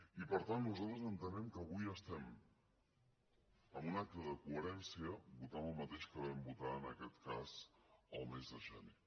i per tant nosaltres entenem que avui estem en un acte de coherència votant el mateix que vam votar en aquest cas el mes de gener